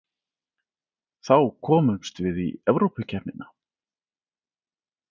Þá komumst við í Evrópukeppnina